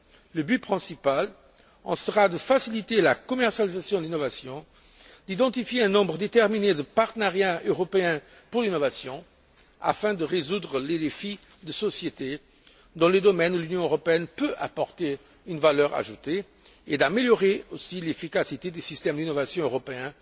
Le but principal sera de faciliter la commercialisation de l'innovation, d'identifier un nombre déterminé de partenariats européens pour l'innovation afin de résoudre les défis de société dans les domaines où l'Union européenne peut apporter une valeur ajoutée, ainsi que d'améliorer l'efficacité des systèmes d'innovation européens,